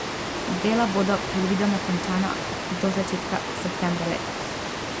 Dela bodo predvidoma končana do začetka septembra letos.